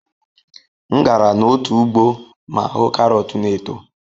M gara n'otu ugbo ma hụ karọt na-eto.